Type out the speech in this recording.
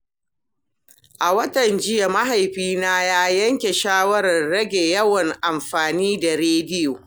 A watan jiya, mahaifina ya yanke shawarar rage yawan amfani da rediyo.